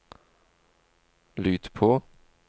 lyd på